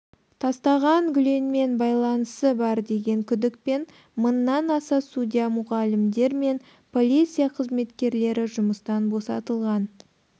тастаған гүленмен байланысы бар деген күдікпен мыңнан аса судья мұғалімдер мен полиция қызметкерлері жұмыстан босатылған